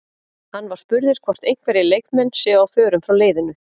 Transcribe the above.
Hann var spurður hvort einhverjir leikmenn séu á förum frá leiðinu?